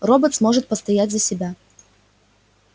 роботс может постоять за себя